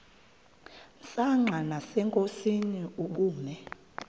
msanqa nasenkosini ubume